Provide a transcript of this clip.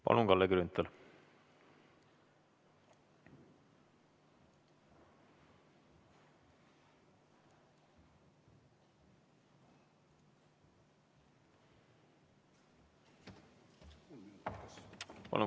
Palun, Kalle Grünthal!